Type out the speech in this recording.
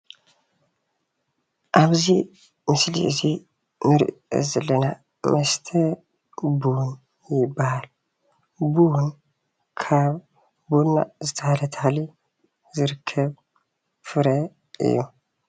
ኣብዚ ምስሊ እዚ እንሪኦ ዘለና መስተ ቡን ይባሃል ፡፡ ቡን ካብ ቡና ዝተባሃለ ተክሊ ዝርከብ ፍረ እዩ፡፡